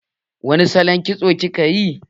Wani salon kitso kika yi?